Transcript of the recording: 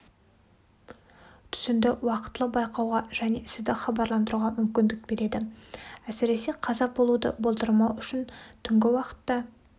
түтінді уақтылы байқауға және сізді хабарландыруға мүмкіндік береді әсіресе қаза болуды болдырмау үшін түнгі уақытта